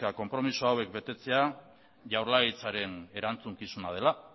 konpromezu hauek betetzea jaurlaritzaren erantzukizuna dela